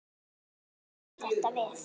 Svo bættist þetta við.